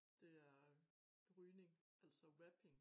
Det er rygning altså vaping